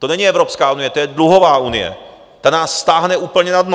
To není Evropská unie, to je dluhová unie, ta nás stáhne úplně na dno!